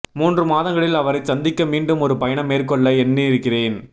மூன்று மாதங்களில் அவரைச் சந்திக்க மீண்டும் ஒரு பயணம் மேற்கொள்ள எண்ணியிருக்கிறேன்